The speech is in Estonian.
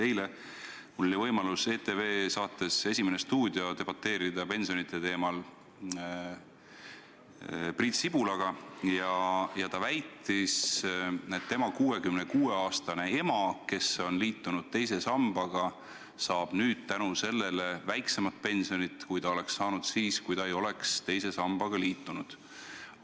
Eile oli mul võimalus ETV saates "Esimene stuudio" debateerida pensionite teemal Priit Sibulaga ja ta väitis, et tema 66-aastane ema, kes on liitunud teise sambaga, saab nüüd väiksemat pensioni, kui ta oleks saanud siis, kui ta ei oleks teise sambaga liitunud.